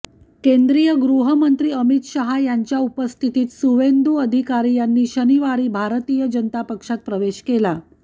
केन्द्रीय गृहमंत्री अमित शहा यांच्या उपस्थितीत सुवेंदू अधिकारी यांनी शनिवारी भारतीय जनता पक्षात प्रवेश केला